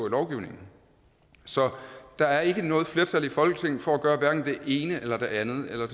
i lovgivningen så der er ikke noget flertal i folketinget for at gøre hverken det ene eller det andet eller